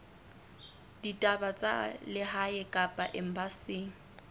ditaba tsa lehae kapa embasing